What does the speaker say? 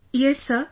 Yes Sir